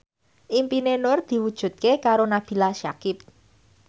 impine Nur diwujudke karo Nabila Syakieb